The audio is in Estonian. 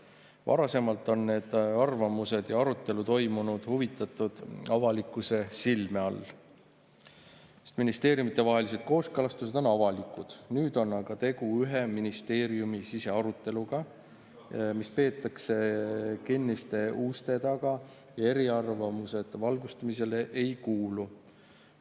Varasemalt on nende arvamuste arutelu toimunud huvitatud avalikkuse silme all, sest ministeeriumidevahelised kooskõlastused on olnud avalikud, nüüd oleks aga tegu ühe ministeeriumi sisearuteluga, mida peetakse kinniste uste taga, ja eriarvamused valgustamisele ei kuulu.